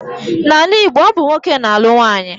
N'ala Igbo, ọ bụ nwoke na-alụ nwaanyị.